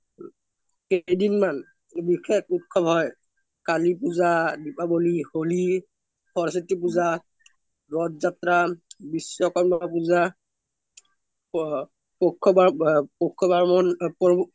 কেইদিন মান বিসেশ উত্সৱ হৈ কালি পুজা, দীপৱলি, হোলি, সৰস্ৱতি পুজা, ৰথ জাত্ৰা, ৱিশ্ৱকৰ্ম পুজা